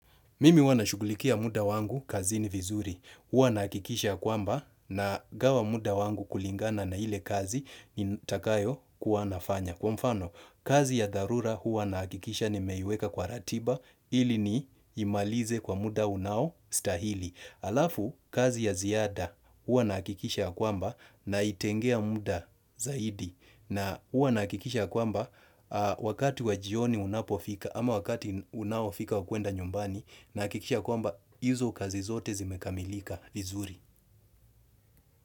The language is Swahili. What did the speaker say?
Mimi huwa nashughulikia muda wangu kazini vizuri. Huwa nahakikisha ya kwamba nagawa muda wangu kulingana na ile kazi nitakayo kuwa nafanya. Kwa mfano, kazi ya dharura huwa nahakikisha nimeiweka kwa ratiba ili ni imalize kwa muda unao stahili. Alafu, kazi ya ziada huwa nahakikisha ya kwamba naitengea muda zaidi. Na huwa nahakikisha kwamba wakati wa jioni unapofika ama wakati unaofika wa kuenda nyumbani nahakikisha kwamba hizo kazi zote zimekamilika vizuri.